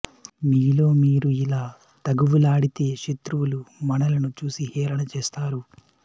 మీలో మీరు ఇలా తగవులాడితే శత్రువులు మనలను చూసి హేళన చేస్తారు